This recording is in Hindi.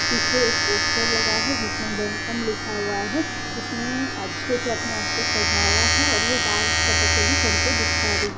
पीछे एक पोस्टर लगा है जिसमे वेलकम लिखा हुआ है इसने अच्छे से अपने आप को सजाया है और ये डांस कथकली करके दिखा रही है।